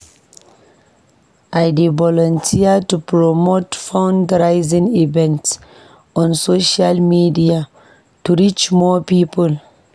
I dey volunteer to promote fundraising events on social media to reach more people.